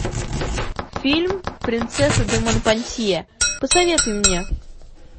фильм принцесса де монпансье посоветуй мне